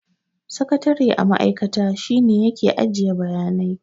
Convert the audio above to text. Sakatare a ma'aikata, shi ne ya ke ajiye bayanai.